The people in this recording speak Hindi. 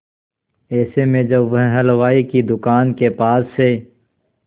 ऐसे में जब वह हलवाई की दुकान के पास से